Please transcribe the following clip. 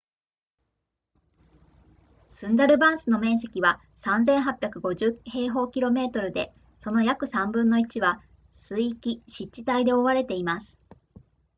スンダルバンスの面積は 3,850 km² で、その約3分の1は水域/湿地帯で覆われています